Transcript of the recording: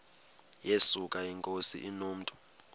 yesuka inkosi inomntu